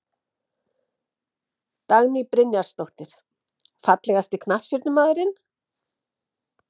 Dagný Brynjarsdóttir Fallegasti knattspyrnumaðurinn?